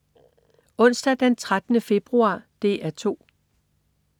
Onsdag den 13. februar - DR 2: